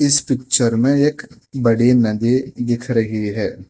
इस पिक्चर में एक बड़ी नदी दिख रही है।